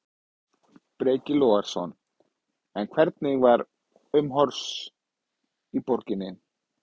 Breki Logason: En hvernig var umhorfs í borginni?